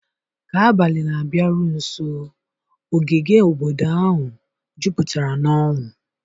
ka abalị na-abịaru nso, ogige obodo ahụ jupụtara n'ọṅụ.